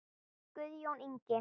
Guðjón Ingi.